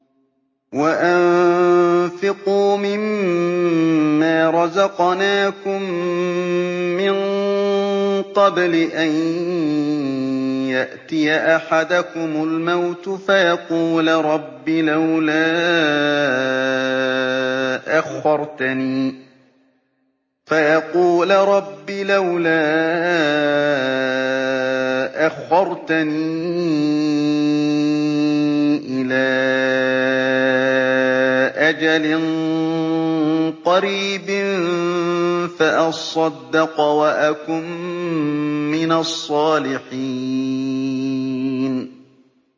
وَأَنفِقُوا مِن مَّا رَزَقْنَاكُم مِّن قَبْلِ أَن يَأْتِيَ أَحَدَكُمُ الْمَوْتُ فَيَقُولَ رَبِّ لَوْلَا أَخَّرْتَنِي إِلَىٰ أَجَلٍ قَرِيبٍ فَأَصَّدَّقَ وَأَكُن مِّنَ الصَّالِحِينَ